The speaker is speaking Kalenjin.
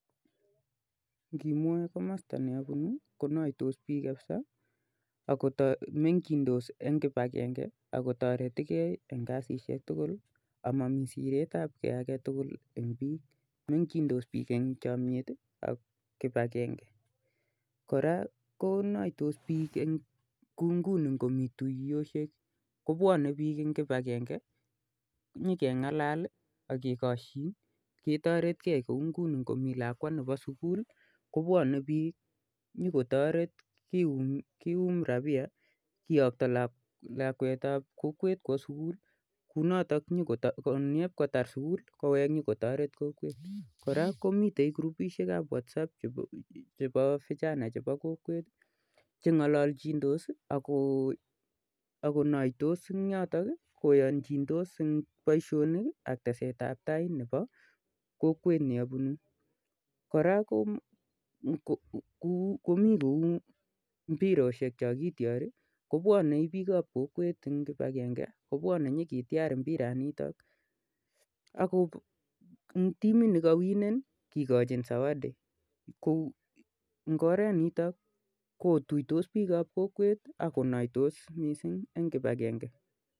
Nkimwoe komosto ne obunu konoitos bik kabisa ak kotok mengindos en kipagenge ak kotoretigee en kasishek tukul amomii siretabgee agetukul en bik, mengindos bik en chomiet tii ak kipagenge. Koraa ko konoitos bik kou nguni ngomii tuyoshek kobwone bik en kipagenge konyokengele lii ak kekoshin ketoretgee kou nguni ngomii lakwa nemii sukul kobwone bik nyokotoret kiyum rabiya kiyokto lakwetab kokwet kwo sukul kou noton nyoko nyokotar sukul kowek nyokotoret kokwet. Koraa komiten kurubishekab Whatsapp chebo vijana chebo kokwet Chengololchindos akonoitos en yoton nii koyokindos en boishonik ak tesetab tai nebo kokwet ne obunu. Koraa komii kou mbiroshek chon kityori kobwone bikab kokwet en kipagenge kobwone nyokityar mbiraniton akko en timit nekowine kikochin zawadi ko en oret niton kotuitoa bikab kokwet ak konoitos missing en kipagenge.